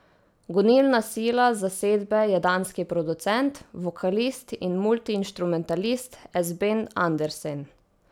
Gonilna sila zasedbe je danski producent, vokalist in multiinštrumentalist Esben Andersen.